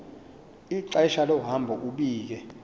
ixesha lohambo ubike